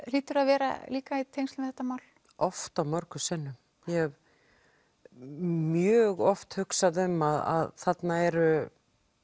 hlýtur að vera líka í tengslum við þetta mál oft og mörgum sinnum ég hef mjög oft hugsað um að þarna eru